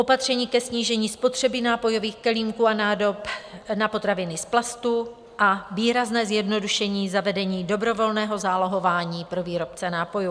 Opatření ke snížení spotřeby nápojových kelímků a nádob na potraviny z plastů a výrazné zjednodušení zavedení dobrovolného zálohování pro výrobce nápojů.